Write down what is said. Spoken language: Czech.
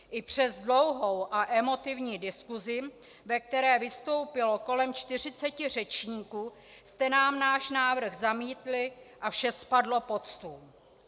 I přes dlouhou a emotivní diskusi, ve které vystoupilo kolem 40 řečníků, jste nám náš návrh zamítli a vše spadlo pod stůl.